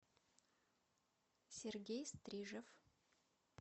сергей стрижев